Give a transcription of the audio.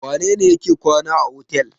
Wane ne yake kwana a otel?